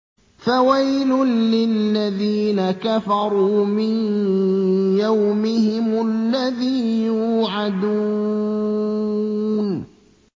فَوَيْلٌ لِّلَّذِينَ كَفَرُوا مِن يَوْمِهِمُ الَّذِي يُوعَدُونَ